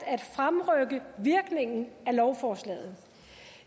at fremrykke virkningen af lovforslaget